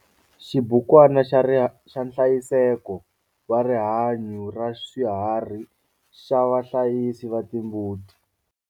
Xibukwana xa nhlayiseko wa rihanyo raswiharhi xa vahlayisi va timbuti.